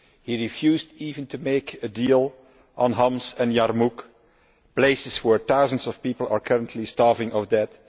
He refused even to make a deal on Homs and Yarmouk places where thousands of people are currently starving or dead.